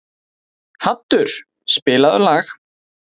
Haddur, spilaðu lag.